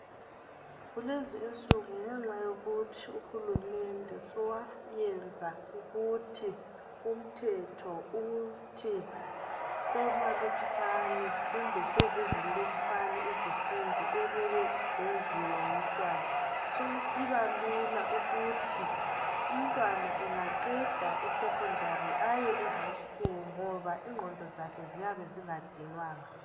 Kulezi insuku ngenxa yokuthi uhulumende sowayenza ukuthi umthetho ukuthi semalutshwane kumbe sesizilutshwane izifundo okumele zenziwe ngumntwana sokusiba lula ukuthi umntwana engaqeda e secondary aye e high school ngoba ingqondo zakhe ziyabe zingadinwanga